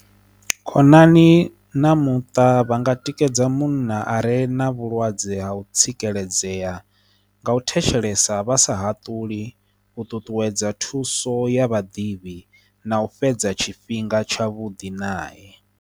Khonani na muṱa vha nga tikedza munna are na vhulwadze ha u tsireledzea nga u thetshelesa vhasa haṱuli u ṱuṱuwedza thuso ya vhaḓivhi na u fhedza tshifhinga tshavhuḓi nae.